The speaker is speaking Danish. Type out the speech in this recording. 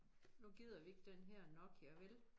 Nu gider vi ikke den her Nokia vel?